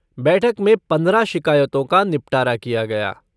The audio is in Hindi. बैठक में पंद्रह शिकायतों का निपटारा किया गया।